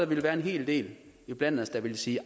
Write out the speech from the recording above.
ville være en hel del iblandt os der ville sige